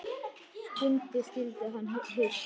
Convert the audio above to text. Skundi skyldi hann heita.